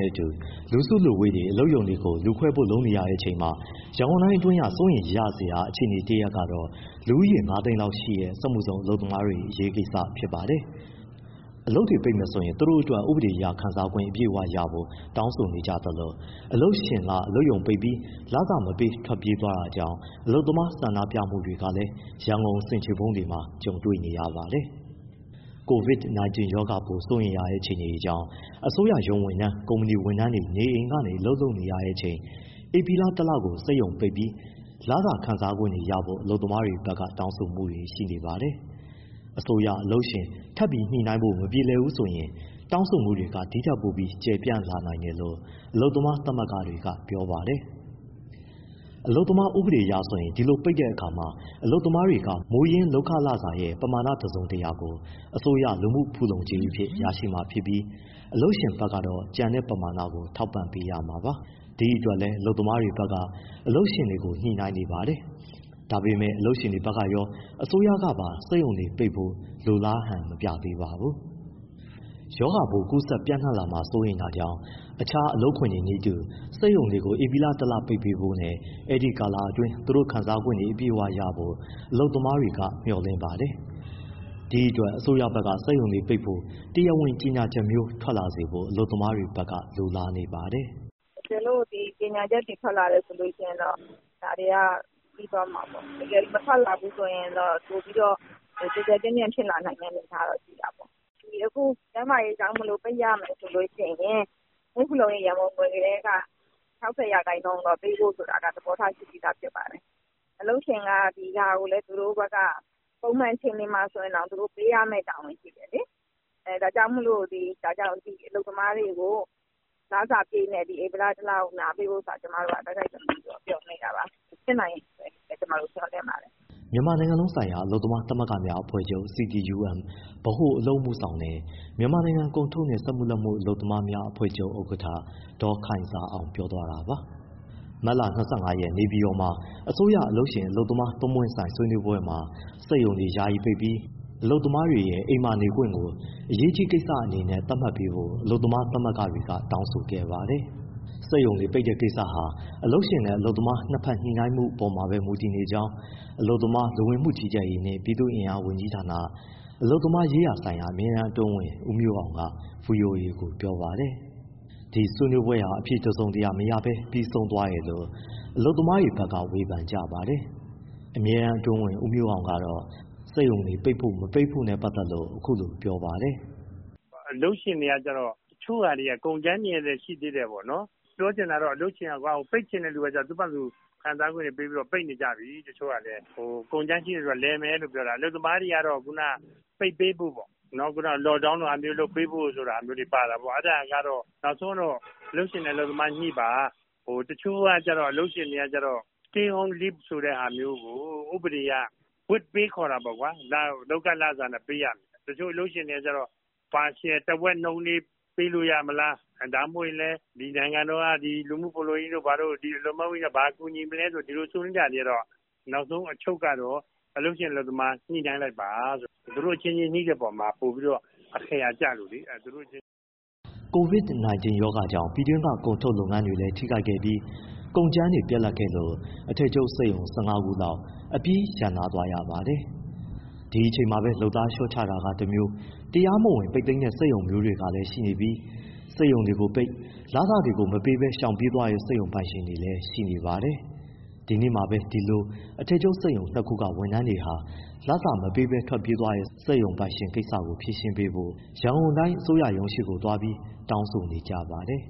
ဲ့အတူ လူစုလူဝေးတွေ အလုပ်ရုံတွေကို လူခွဲဖို့လုပ်နေရချိန်မှာ၊ ရန်ကုန်တိုင်းအတွင်းက စိုးရိမ်စရာအခြေအနေတရပ်ကတာ့ လူဦးရေ ၅ သိန်းလောက်ရှိတဲ့ စက်မှုဇုံအလုပ်သမားတွေအရေးကိစ္စဖြစ်ပါတယ်။ အလုပ်တွေပိတ်မယ်ဆိုရင် သူတို့အတွက် ဥပဒေအရ ခံစားခွင့် အပြည့်အဝရရှိဖို့ တောင်းဆိုနေသလို၊ အလုပ်ရှင်က အလုပ်ရုံပိတ်ပြီး လစာမပေး ထွက်ပြေးသွားတာကြောင့် အလုပ်သမားဆန္ဒပြမှုတွေကလည်း ရန်ကုန်ဆင်ခြေဖုံးတွေမှာ ကြုံနေရပါတယ်။ ဒီအကြောင်းကိုဇော်ထက် စုံစမ်းမေးမြန်းထားပါတယ်။ COVID-19 ရောဂါပိုး စိုးရိမ်ရတဲ့အခြေအနေကြောင့် အစိုးရရုံးဝန်ထမ်း၊ ကုမ္ပဏီဝန်ထမ်းတွေ နေအိမ်ကနေ အလုပ်လုပ်နေရတဲ့အချိန်၊ ဧပြီလ တလ စက်ရုံပိတ်ပြီး လစာခံစားခွင့်တွေရဖို့ အလုပ်သမားတွေဘက်က တောင်းဆိုမှုတွေရှိနေပါတယ်။ အစိုး၊ အလုပ်ရှင် ထပ်ပြီးညှိနှိုင်းလို့ မပြေလည်ဘူးဆိုရင် တောင်းဆိုမှုတွေက ဒီထက်ပိုပြီးကျယ်ပြန့်လာနိုင်တယ်လို့ အလုပ်သမားသမဂ္ဂတွေက ပြောပါတယ်။ အလုပ်သမားဥပဒေအရဆိုရင် ဒီလိုပိတ်တဲ့အခါမှာ အလုပ်သမားတွေက မူရင်းလုပ်ခလစာရဲ့ ပမာဏ တစုံတရာကို အစိုးရလူမ ှုဖူလုံကြေးအဖြစ်ရရှိမှာဖြစ်ပြီး၊ အလုပ်ရှင်ဘက်ကတော့ ကျန်ပမာဏကို ထောက်ပံ့ပေးရမှာပါ။ ဒီအတွက်လည်း အလုပ်သမားတွေဘက်က အလုပ်ရှင်တွေကို ညှိုနှိုင်းနေပါတယ်။ ဒါပေမယ့် အလုပ်ရှင်တွေဘက်ကရော အစိုးရဘက်ကပါ စက်ရုံတွေပိတ်ဖို့ လိုလားဟန်မပြသေးပါဘူး။ ရောဂါပိုးကူးစက်ပျံနှံ့ လာမှာစိုးတာကြောင့် အခြားအလုပ်ခွင်တွေနည်းတူ၊ စက်ရုံတွေကို ဧပြီလတလ ပိတ်ပေးဖို့နဲ့ အဲဒီကာလအတွင်း သူတို့ခံစားခွင့်တွေ အပြည့်အဝရရှိဖို့ အလုပ်သမားတွေက မျှော်လင့်ပါတယ်။ ဒီအတွက် အစိုးရဘက်က စက်ရုံတွေပိတ်ဖို့ တရားဝင်ကြေညာချက်မျိုးထွက်စေဖို့ အလုပ်သမားတွေဘက်က လိုလားနေပါတယ်။ “ တကယ်လို့ ဒီကြေညာချက်တွေ ထွက်လာတယ်ဆိုရင်တော့ ဒါတွေက ပြီးသွားမှာပါ။ မထွက်လာဘူး ဆိုရင်တော့ ပိုပြီးတော့ ကျယ်ကျယ်ပြန့်ပြန့် ဖြစ်လာနိုင်တဲ့ အနေအထားတော့ ရှိတာပေါ့။ အခု ကျန်းမာရေးကြောင့် ပိတ်ရမယ်ဆိုရင် လူမှုဖူလုံရေး ရန်ပုံငွေထဲက ၆၀% ပေးဖို့ဆိုတာ သဘောထား ရှိပြီး ဖြစ်ပါတယ်။ အလုပ်ရှင်က ဒီဟာကို သူတို့ဘက်က၊ ပုံမှန်အခြေအနေမှာ ဆိုရင်တောင် ပေးရမယ့် တာဝန်ရှိတယ်လေ။ ဒါကြောင့်မို့ အလုပ်သမားတွေကို ဧပြီလတလစာအတွက် တိုက်တိုက်တွန်းတွန်း ပြောနေတာဖြစ်ပါတယ်၊ ဖြစ်လာမယ်လို့ မျှော်လင့်ပါတယ်။” မြန်မာနိုင်ငံလုံးဆိုင်ရာ အလုပ်သမားသမဂ္ဂများ အဖွဲ့ချုပ် CTUM ဗဟိုအလုပ်အမှုဆောင်နဲ့ မြန်မာနိုင်ငံ ကုန်ထုတ်နှင့် စက်မှုလက်မှု အလုပ်သမားများ အဖွဲ့ချုပ် ဥက္ကဋ္ဌ ဒေါ်ခိုင်ဇာအောင် ပြောသွားတာပါ။ မတ်လ ၂၅ရက် နေပြည်တော်မှာ အစိုးရ၊ အလုပ်ရှင်၊ အလုပ်သမား သုံးပွင့်ဆိုင်ဆွေးနွေးပွဲမှာ စက်ရုံတွေယာယီပိတ်ပြီး အလုပ်သမားတွေရဲ့ ‘ အိမ်မှာနေ ခွင့်’ ကို အရေးကြီးကိစ္စ အနေနဲ့ သတ်မှတ်ပေးဖို့ အလုပ်သမားသမဂ္ဂတွေက တောင်းဆိုခဲ့ပါတယ်။ စက်ရုံတွေပိတ်တဲ့ကိစ္စဟာ အလုပ်ရှင်နဲ့ အလုပ်သမား နှစ်ဘက် ညှိနှိုင်းမှု အပေါ်မှာပဲ မူတည်ကြောင်း အလုပ်သမား၊ လူဝင်မှုကြီးကြပ်ရေးနှင့် ပြည်သူ့အင်အား ဝန်ကြီးဌာန၊ အလုပ်သမားရေးရာဆိုင်ရာ အမြဲတမ်းအတွင်းဝန် ဦးမျိုးအောင်က ဗွီအိုအေကို ပြောပါတယ်။ “ အလုပ်ရှင်တွေက တချို့က ကုန်ကြမ်းတွေလည်း ရှိသေးတယ်ပေါ့၊ ပြောချင်တာက အလုပ်ရှင်က ပိတ်ချင်တဲ့သူကတော့ ခံစားခွင့်တွေပေးပြီး ပိတ်နေကြပြီ။ ကုန်ကြမ်းရှိတဲ့သူတွေကတော့ လည်မယ်ပေါ့။ အလုပ်သမားတွေကတော့ ပိတ်ပေးဖို့ Lock down လိုဟာမျိုးတွေလုပ်ပေးဖို့ ဟာမျိုးတွေ ပါတာပေါ့။ အဲဒါကတော့ နောက်ဆုံးတော့ အလုပ်ရှင်နဲ့ အလုပ်သမားညှိပါ။ တချို့က အလုပ်ရှင်တွေကျတော့ stay home leave လိုဟာမျိုး ဥပဒေအရ with pay ခေါ်တာပေါ့ လုပ်ခလစာနဲ့ပေးကြတယ်။ တချို့အလုပ်ရှင်တွေကျ partial တဝက်နှုန်း ပေးလို့ရမလား ဒါမှမဟုတ်ရင်လည်း နိုင်ငံတော်က လူမှုဖူလုံကြေးတို့ ဘာတို့ အလုပ်သမားဝန်ကြီးဌာနက ဘာကူညီမလဲ ကျနော်တို့ ဆွေးနွေးကြသေးတော့ နောက်ဆုံးအချုပ်ကတော့ အလုပ်ရှင်၊ အလုပ်သမား ညှိနှိုင်းလိုက်ပါ။ သူတို့အချင်းချင်း ညှိတဲ့အပေါ်မှာ အခရာကျတယ်။” ဒီအချိန်မှာပဲ လုပ်သားလျှော့ချတတာမျိုး တရားမဝင်ပိတ်သိမ်းတဲ့ စက်ရုံမျိုးတွေလည်းရှိနေပြီး၊စက်ရုံကိုပိတ် လစာလည်း မပေးပဲ ရှောင်ပြေးသွားတဲ့ စက်ရုံပိုင်ရှင်တွေလည်း ရှိနေပါတယ်။ ဒီနေ့မှာပဲ အဲလိုအထည်ချုပ်စက်ရုံ ၂ခုက ဝန်ထမ်းတွေဟာ လစာမပေးဘဲ ထွက်ပြေးသွားတဲ့ စက်ရုံပိုင်ရှင်ကိစ္စကိုဖြေရှင်းပေးဖို့ ရန်ကုန်တိုင်းအစိုရရုံးရှေ့သွားပြီး တောင်းဆိုနေကြပါတယ်